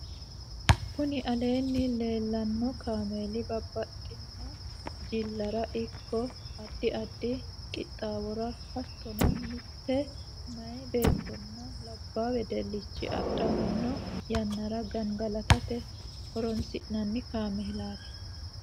kuni aleenni leellanno kameli babbaxinno jillara ikko addi addi qixxawora hattonni mitte meyaa beettonna labbaa wedelichi adhammanno yannara gangalatate horinsi'nanni kamelati.